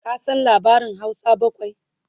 ka San labarin Hausa bakwai?